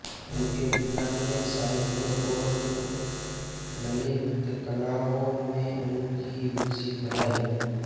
उनके पिता ने साहित्य और ललित कलाओं में उनकी रूचि बढ़ाई